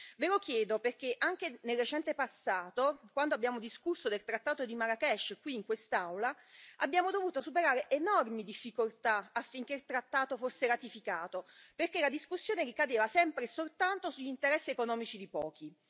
Ve lo chiedo perché anche nel recente passato, quando abbiamo discusso del Trattato di Marrakech, qui in quest'Aula, abbiamo dovuto superare enormi difficoltà affinché il trattato fosse ratificato, perché la discussione ricadeva sempre e soltanto sugli interessi economici di pochi.